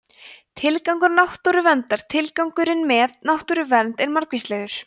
tilgangur náttúruverndar tilgangurinn með náttúruvernd er margvíslegur